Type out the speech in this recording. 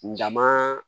N dama